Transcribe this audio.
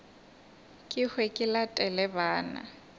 ke hwe ke latele bana